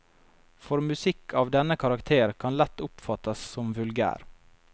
For musikk av denne karakter kan lett oppfattes som vulgær.